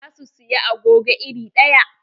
Za su siyi agogo iri ɗaya.